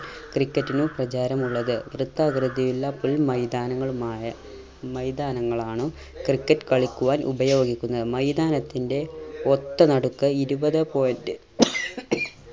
ക്രിക്കറ്റിനും പ്രചാരമുള്ളത്. വൃത്താകൃതിയിലുള്ള പുൽ മൈതാനങ്ങളുമായ മൈതാനങ്ങളാണോ ക്രിക്കറ്റ് കളിക്കുവാൻ ഉപയോഗിക്കുന്നത്. മൈതാനത്തിന്റെ ഒത്ത നടുക്ക് ഇരുപതെ point